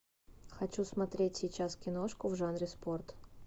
хочу смотреть сейчас киношку в жанре спорт